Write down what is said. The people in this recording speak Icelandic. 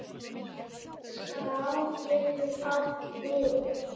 Skrá getur átt við